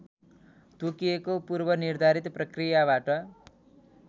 तोकिएको पूर्वनिर्धारित प्रक्रियाबाट